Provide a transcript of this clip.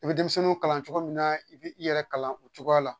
I bɛ denmisɛnninw kalan cogo min na i b'i yɛrɛ kalan o cogoya la